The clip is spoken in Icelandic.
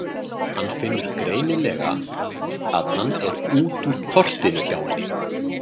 Hann finnur greinilega að hann er út úr kortinu hjá henni.